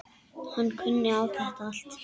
Hann kunni á þetta allt.